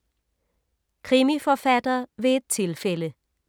Krimiforfatter ved et tilfælde